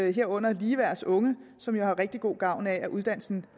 herunder ligeværds unge som har rigtig god gavn af at uddannelsen